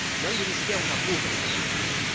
no ha habido ni siquiera una cumbre sobre el empleo.